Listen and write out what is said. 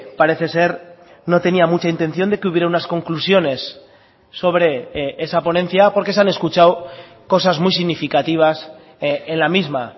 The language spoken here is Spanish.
parece ser no tenía mucha intención de que hubiera unas conclusiones sobre esa ponencia porque se han escuchado cosas muy significativas en la misma